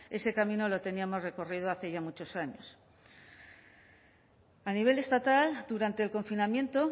ese camino lo teníamos recorrido hace ya muchos años a nivel estatal durante el confinamiento